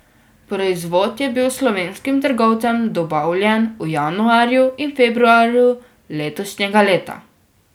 Proizvod je bil slovenskim trgovcem dobavljen v januarju in februarju letošnjega leta.